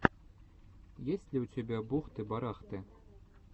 есть ли у тебя бухты барахты